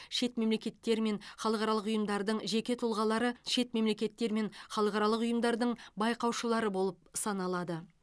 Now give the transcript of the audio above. шет мемлекеттер мен халықаралық ұйымдардың жеке тұлғалары шет мемлекеттер мен халықаралық ұйымдардың байқаушылары болып саналады